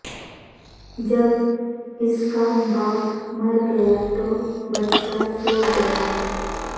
جب اس کا باپ مر گیا تو بچہ سو گیا